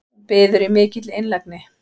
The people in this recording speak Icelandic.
Hún biður í mikilli einlægni